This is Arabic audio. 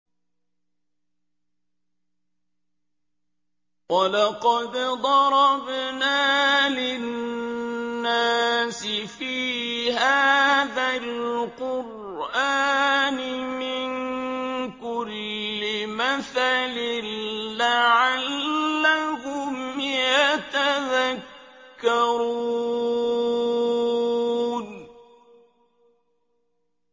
وَلَقَدْ ضَرَبْنَا لِلنَّاسِ فِي هَٰذَا الْقُرْآنِ مِن كُلِّ مَثَلٍ لَّعَلَّهُمْ يَتَذَكَّرُونَ